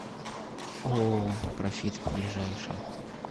ооо профит ближайший